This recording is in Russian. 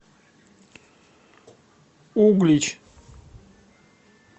углич